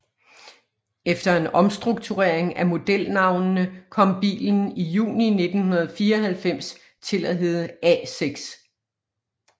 Efter en omstrukturering af modelnavnene kom bilen i juni 1994 til at hedde A6